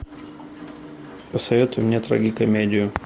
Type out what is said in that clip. посоветуй мне трагикомедию